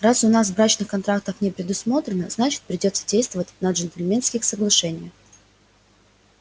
раз у нас брачных контрактов не предусмотрено значит придётся действовать на джентльменских соглашениях